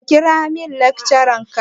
Ka kira min lecturer ka.